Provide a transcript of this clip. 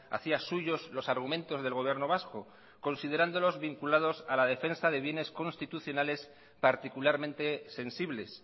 hacía suyos los argumentos del gobierno vasco considerándolos vinculados a la defensa de bienes constitucionales particularmente sensibles